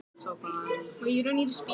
Hersveitirnar benda hvor á aðra